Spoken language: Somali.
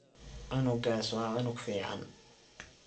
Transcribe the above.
Cunugas wa cunug ficn.